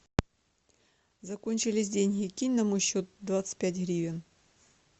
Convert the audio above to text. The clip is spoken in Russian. закончились деньги кинь на мой счет двадцать пять гривен